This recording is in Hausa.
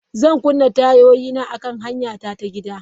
Zan kunna tayoyina akan hanyara ta gida.